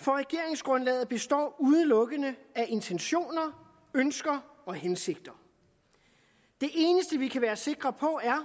for regeringsgrundlaget består udelukkende af intentioner ønsker og hensigter det eneste vi kan være sikre på er